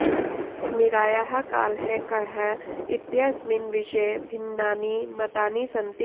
मीरायाः कालः कः इत्यस्मिन् विषये भिन्नानि मतानि सन्ति